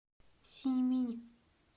синьминь